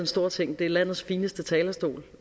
stor ting det er landets fineste talerstol